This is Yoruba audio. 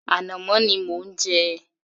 Ànàmọ́ ni mò ń jẹ